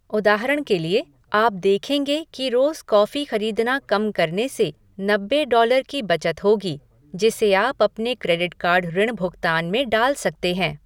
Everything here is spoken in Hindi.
उदाहरण के लिए, आप देखेंगें कि रोज़ कॉफ़ी खरीदना कम करने से नब्बे डॉलर की बचत होगी, जिसे आप अपने क्रेडिट कार्ड ऋण भुगतान में डाल सकते हैं।